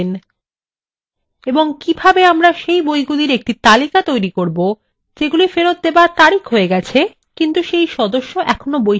এবং কিভাবে আমরা সেই বইগুলির একটি তালিকা তৈরী করবো যেগুলি ফেরত দেবার তারিখ হয়ে গেছে কিন্তু সেই সদস্য এখনো বইটি ফেরত দেননি